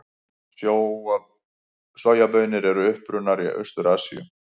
Sojabaunir eru upprunnar í Austur-Asíu.